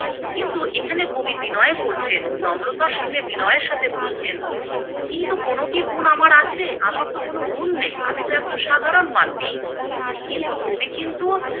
কিন্তু এখানে কবি বিনয় করছেন, নম্রতার সঙ্গে বিনয়ের সাথে বলছেন, কিন্তু কোনো কি গুণ আমার আছে আমারতো কোনো গুণ নেই আমি তো একজন সাধারণ মানুষ। কিন্তু কবি কিন্তু